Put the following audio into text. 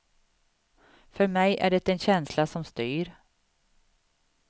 För mig är det en känsla som styr.